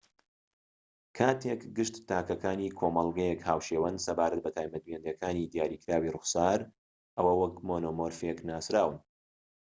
کاتێک گشت تاکەکانی کۆمەڵگەیەک هاوشێوەن سەبارەت بە تایبەتمەندیەکی دیاریکراوی ڕووخسار ئەوە وەک مۆنۆمۆرفیک ناسراون